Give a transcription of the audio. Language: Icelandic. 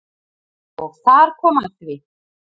Og þar kom að því.